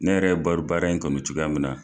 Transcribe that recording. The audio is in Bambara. Ne yɛrɛ ye baro baara in kanu cogoya min na.